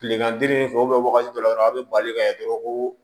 Tilegan derini fɛ wagati dɔ la dɔrɔn a bɛ bali ka kɛ dɔrɔn koo